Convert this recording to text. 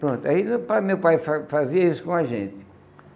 Pronto, aí meu pai meu pai fa fazia isso com a gente.